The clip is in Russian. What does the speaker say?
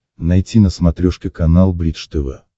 найти на смотрешке канал бридж тв